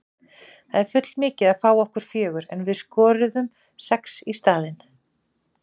Það er full mikið að fá á okkur fjögur en við skoruðum sex í staðinn.